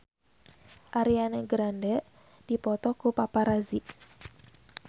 Ariana Grande dipoto ku paparazi